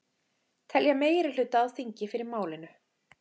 Telja meirihluta á þingi fyrir málinu